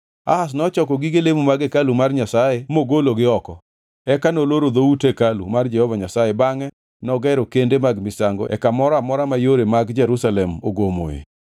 Ahaz nochoko gige lemo mag hekalu mar Nyasaye mogologi oko. Eka noloro dhout hekalu mar Jehova Nyasaye bangʼe nogero kende mag misango e kamoro amora ma yore mag Jerusalem ogomoe.